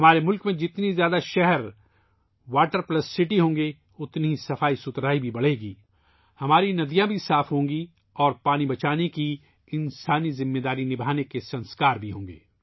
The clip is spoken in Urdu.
ہمارے ملک میں جتنے زیادہ شہر 'پلس سٹی ' ہوں گے ، اتنا ہی صفائی میں اضافہ ہوگا ، ہمارے دریا بھی صاف ہوں گے اور پانی بچانے کی انسانی ذمہ داری کو پورا کرنے کی بھی تہذہب ہو گی